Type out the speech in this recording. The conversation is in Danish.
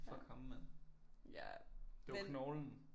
Fuck ham mand. Det var knoglen